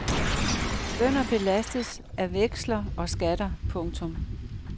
Bønder belastes af veksler og skatter. punktum